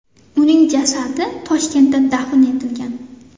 Uning jasadi Toshkentda dafn etilgan.